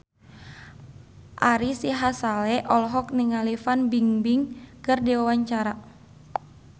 Ari Sihasale olohok ningali Fan Bingbing keur diwawancara